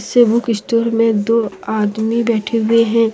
इस book store में दो आदमी बैठे हुए है।